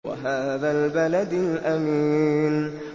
وَهَٰذَا الْبَلَدِ الْأَمِينِ